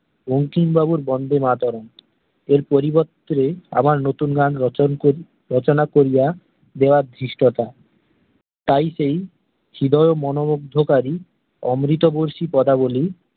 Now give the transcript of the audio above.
বঙ্কিমবাবুর বন্দে মাতরম এর পরিবর্তে আবার নতুন গান রচন রচনা করিয়া দেওয়ার ধৃষ্টতা তাই সেই চিদোয় মনোমুগ্ধ কারী অমৃত বৰ্জি পদাবলী